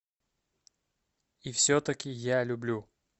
и все таки я люблю